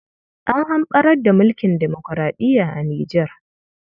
An hamɓarar da mulkin demoraɗiya a Nijar.